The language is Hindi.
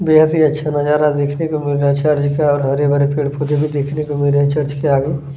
बहुत ही अच्छा नजारा देखने को मिल रहा है चर्च का और हरे - भरे पेड़ - पोधे भी देखने को मिल रहे है चर्च के आगे --